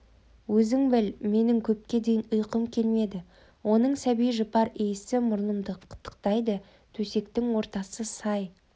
өзің біл менің көпке дейін ұйқым келмеді оның сәби жұпар иісі мұрнымды қытықтайды төсектің ортасы сай